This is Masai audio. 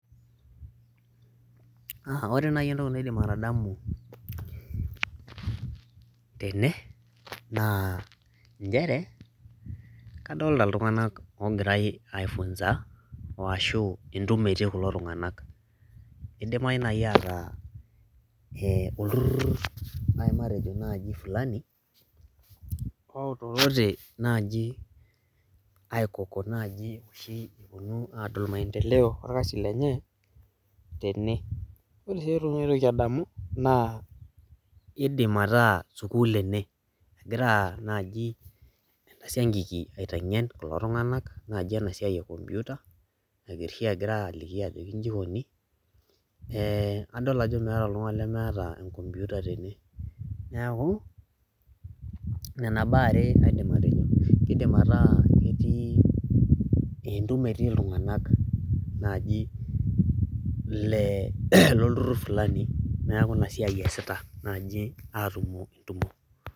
ore naaji entoki naidim atadamu tene aa nchere kadlta iltunganak oogirae ai funza. aashu entumo etiii kulo tunganak, idimayu naaji aaata ee olturur naaji matejo naaji fulani. oonotote naaji aikoko naaji, oshi epuonu aadol maendelo oorkasi lenye. tene. ore sii entoki naitoki aadamu, naa idim ataa sukuul ene. egira naaji, ena siankiki aitengen kulo tung'anak naaji ena siai e computer egirae aliki ajo iji ikoni, eee adol ajo meeta oltungani lemeeta e computer tene, neeku, kidim ataa entumo etii iltunganak lolturur fulani. neeku ina siai eesita naaji atumo entumo.